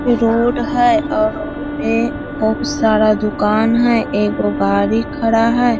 इ रोड हेय और रोड पे बहुत सारा दुकान है एगो गाड़ी खड़ा हेय।